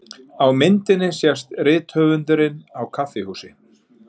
Á myndinni sést rithöfundurinn á kaffihúsi.